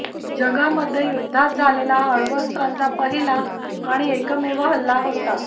जगामध्ये युद्धात झालेला हा अण्वस्त्रांचा पहिला आणि एकमेव हल्ला होता